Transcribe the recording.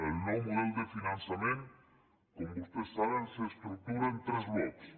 el nou model de finançament com vostès saben s’estructura en tres blocs